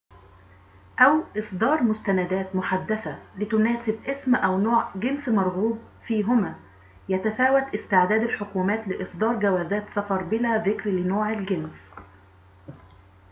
يتفاوت استعداد الحكومات لإصدار جوازات سفر بلا ذكر لنوع الجنس x أو إصدار مستندات محدثة لتناسب اسم أو نوع جنس مرغوب فيهما